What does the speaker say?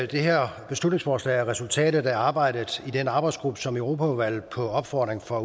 det her beslutningsforslag er resultatet af arbejdet i den arbejdsgruppe som europaudvalget på opfordring fra